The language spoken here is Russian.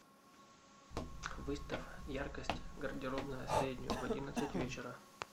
выставь яркость гардеробная среднюю в одиннадцать вечера